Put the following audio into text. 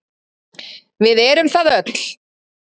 Við erum það öll.